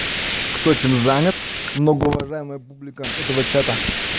кто чем занят многоуважаемая публика этого чата